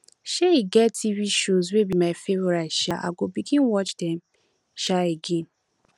um e get tv shows wey be my favourite um i go begin watch dem um again